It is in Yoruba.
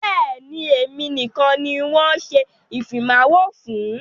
Bẹ́ẹ̀ni, èmi nìkan ni wọn ṣe ìfimawo fún.